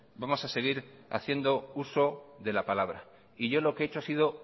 vamos a seguir haciendo uso de la palabra y yo lo que yo he hecho es